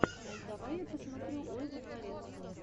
давай я посмотрю ольгу дворецкую